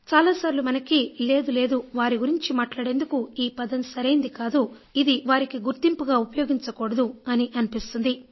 చాలాసార్లు మనకు లేదు లేదు వారి గురించి మాట్లాడేందుకు ఈ పదం సరైనది కాదు ఇది వారికి గుర్తింపుగా ఉపయోగించకూడదని అనిపిస్తుంది